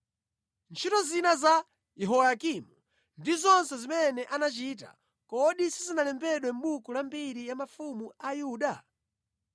Ntchito zina za Yehoyakimu ndi zonse zimene anachita, kodi sizinalembedwe mʼbuku la mbiri ya mafumu a Yuda?